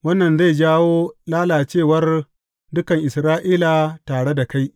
Wannan zai jawo lalacewar dukan Isra’ila tare da kai.